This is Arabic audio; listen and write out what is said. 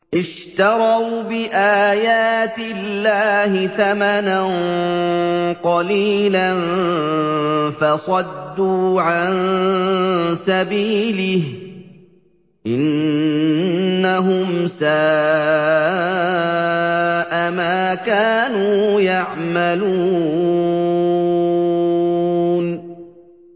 اشْتَرَوْا بِآيَاتِ اللَّهِ ثَمَنًا قَلِيلًا فَصَدُّوا عَن سَبِيلِهِ ۚ إِنَّهُمْ سَاءَ مَا كَانُوا يَعْمَلُونَ